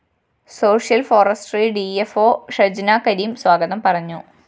social forestry D F O Shajna Kareem സ്വാഗതം പറഞ്ഞു